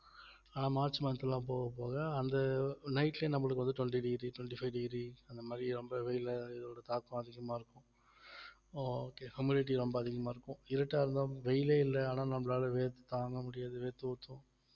ஆனா March month எல்லாம் போகப் போக அந்த night லயே நம்மளுக்கு வந்து twenty degree twenty five degree அந்த மாரி ரொம்ப வெயில்ல இதோட தாக்கம் அதிகமா இருக்கும் okay humility ரொம்ப அதிகமா இருக்கும் இருட்டா இருந்தாலும் வெயிலே இல்லை ஆனா நம்மளால வேர்த்து~ தாங்க முடியாது வேர்த்து ஊத்தும்